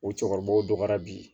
O cɛkɔrɔbaw dɔgɔyara bi